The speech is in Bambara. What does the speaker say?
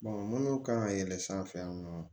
minnu kan ka yɛlɛn sanfɛ yan nɔ